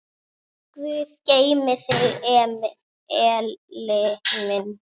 Guð geymi þig, Elli minn.